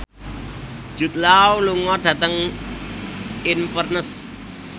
Jude Law lunga dhateng Inverness